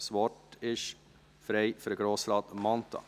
Das Wort ist frei für Grossrat Mentha.